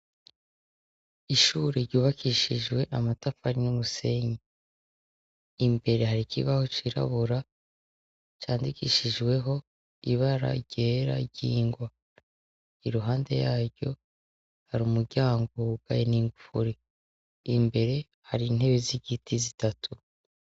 Ishure ryubakishijwe amatafari n'umusenyi. Imbere hari ikibaho cirabura candikishijweho ibara ryera ry'ingwa. Iruhande yaryo hari umuryango wugaye n'ingufuri. Imbere hari intebe z'igiti zitatu.